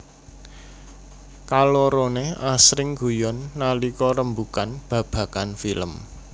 Kaloroné asring guyon nalika rembugan babagan film